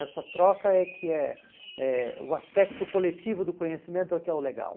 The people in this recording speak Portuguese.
Essa troca é que é é o aspecto coletivo do conhecimento é que é o legal.